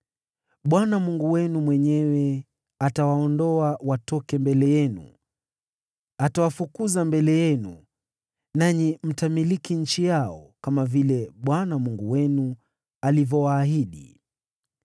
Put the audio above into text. Bwana Mungu wenu mwenyewe atawaondoa watoke mbele yenu. Atawafukuza mbele yenu, nanyi mtamiliki nchi yao, kama vile Bwana Mungu wenu alivyowaahidi.